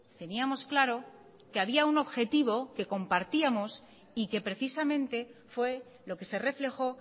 teníamos claro que había un objetivo que compartíamos y que precisamente fue lo que se reflejó